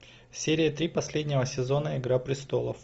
серия три последнего сезона игра престолов